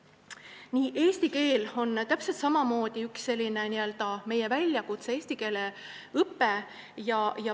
Eesti keel ja eesti keele õpe on täpselt samamoodi üks meie väljakutseid.